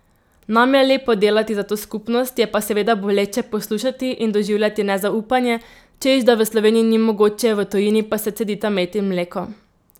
Nam je lepo delati za to skupnost, je pa seveda boleče poslušati in doživljati nezaupanje, češ da v Sloveniji ni mogoče, v tujini pa se cedita med in mleko.